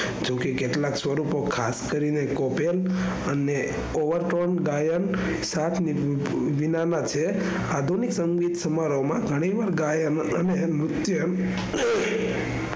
જોકે કેટલા સ્વરૂપો ખાસ કરીને કોપીયાલ અને ઘાયલ સાથે નાના છે આધુનિક સમારંભ માં ગણિ વાર ગાયકો,